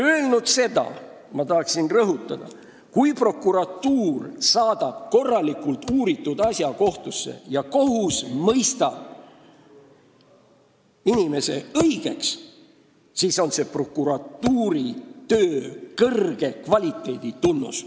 Seda öelnuna tahan rõhutada, et kui prokuratuur saadab korralikult uuritud asja kohtusse ja kohus mõistab inimese õigeks, siis on see prokuratuuri töö kõrge kvaliteedi tunnus.